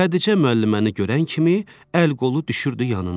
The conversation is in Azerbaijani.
Xədicə müəlliməni görən kimi əl-qolu düşürdü yanına.